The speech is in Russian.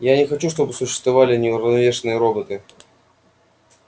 я не хочу чтобы существовали неуравновешенные роботы